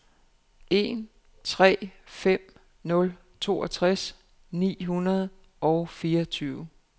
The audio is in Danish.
en tre fem nul toogtres ni hundrede og fireogtyve